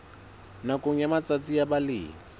nakong ya matsatsi a balemi